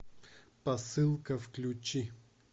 посылка включи